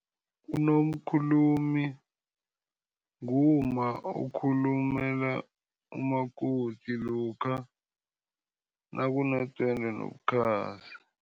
Unomkhulumi ngumma okhulumela umakoti, lokha nakunedwendwe nobukhazi.